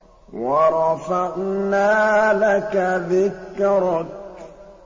وَرَفَعْنَا لَكَ ذِكْرَكَ